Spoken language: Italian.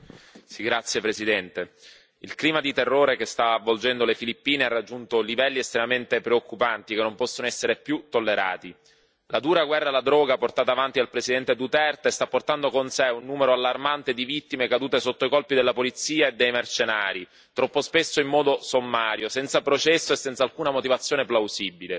Signor Presidente, onorevoli colleghi, il clima di terrore che sta avvolgendo le Filippine ha raggiunto livelli estremamente preoccupanti, che non possono essere più tollerati. La dura guerra alla droga portata avanti dal presidente Duterte sta portando con sé un numero allarmante di vittime cadute sotto i colpi della polizia e dei mercenari, troppo spesso in modo sommario, senza processo e senza alcuna motivazione plausibile.